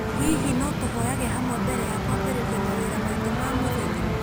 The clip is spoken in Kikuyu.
Hihi no tũhoyage hamwe mbere ya kwambĩrĩria mawĩra maitũ ma mũthenya?